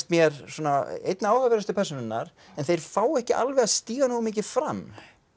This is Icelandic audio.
mér einna áhugaverðustu persónurnar en þeir fá ekki alveg að stíga nógu mikið fram